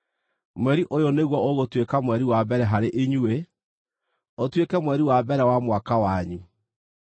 “Mweri ũyũ nĩguo ũgũtuĩka mweri wa mbere harĩ inyuĩ, ũtuĩke mweri wa mbere wa mwaka wanyu.